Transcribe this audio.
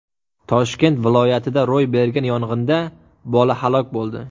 Toshkent viloyatida ro‘y bergan yong‘inda bola halok bo‘ldi.